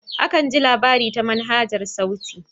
Akan ji labari ta manhajar sauti.